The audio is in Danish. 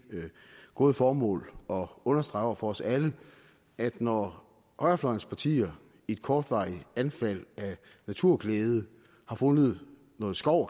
gode formål at understrege over for os alle at når højrefløjens partier i et kortvarigt anfald af naturglæde har fundet noget skov